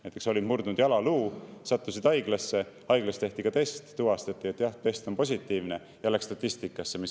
Näiteks, kui sa murdsid jalaluu ja sattusid haiglasse, haiglas tehti test ja test oli positiivne, siis see läks statistikasse.